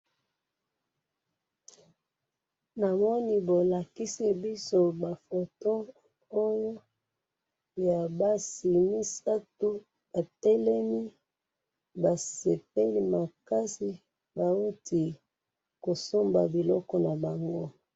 namoni bolakisi biso ba foto oyo, ya basi misatu batelemi basepeli makasi bahuti kosomba biloko na bango.